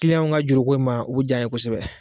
Kiliyanw ka juruko in ma, u bɛ diy'a ye kosɛbɛ.